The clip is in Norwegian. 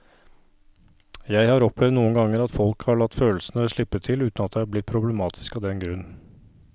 Jeg har opplevd noen ganger at folk har latt følelsene slippe til uten at det er blitt problematisk av den grunn.